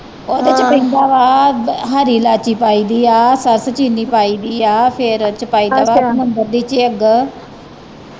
ਉਹਦੇ ਚ ਪੈਂਦਾ ਵਾ ਹਰੀ ਲਾਚੀ ਪਾਈ ਦੀ ਆ, ਚੀਨੀ ਪਾਈ ਦੀ ਆ ਫਿਰ ਉਹਦੇ ਚ ਪਾਈ ਦਾ ਵਾ ਸਮੁੰਦਰ ਦੀ ਚਿਗ